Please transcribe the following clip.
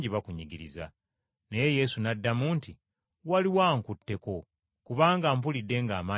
Naye Yesu n’addamu nti, “Waliwo ankutteko kubanga mpulidde ng’amaanyi ganvaamu.”